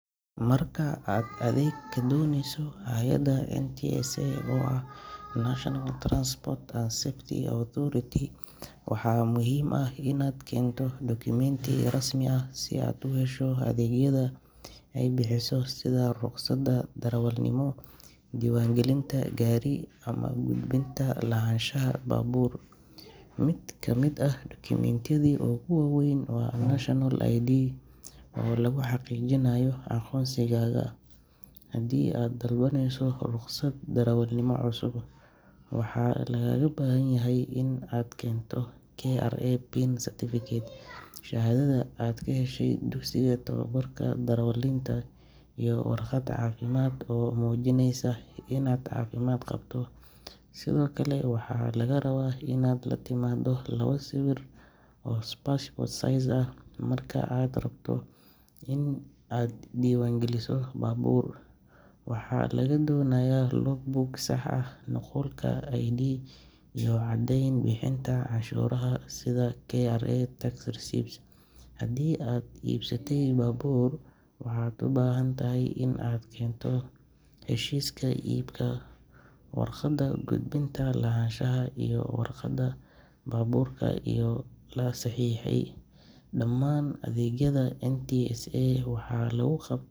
Marka aad adeeg ka doonayso hay’adda NTSA oo ah National Transport and Safety Authority, waxaa muhiim ah inaad keento dukumeenti rasmi ah si aad u hesho adeegyada ay bixiso sida ruqsadda darawalnimo, diiwaangelinta gaari, ama gudbinta lahaanshaha baabuur. Mid ka mid ah dukumeentiyada ugu waaweyn waa National ID oo lagu xaqiijinayo aqoonsigaaga. Haddii aad dalbanayso ruqsad darawalnimo cusub, waxaa lagaaga baahan yahay inaad keento KRA PIN certificate, shahaadada aad ka heshay dugsiga tababarka darawaliinta, iyo warqad caafimaad oo muujinaysa inaad caafimaad qabto. Sidoo kale waxaa lagaa rabaa inaad la timaado labo sawir oo passport size ah. Marka aad rabto in aad diiwaangeliso baabuur, waxaa lagaa doonayaa logbook sax ah, nuqulka ID, iyo caddeyn bixinta canshuuraha sida KRA tax receipts. Haddii aad iibsatay baabuur, waxaad u baahan tahay inaad keento heshiiska iibka, waraaqda gudbinta lahaanshaha iyo waraaqda baabuurka oo la saxiixay. Dhammaan adeegyada NTSA waxaa lagu qab.